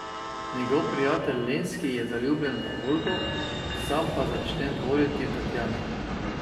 Njegov prijatelj Lenski je zaljubljen v Olgo, sam pa začne dvoriti Tatjani.